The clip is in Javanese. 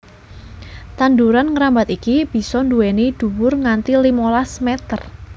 Tanduran ngrambat iki bisa nduwèni dhuwur nganti limolas meter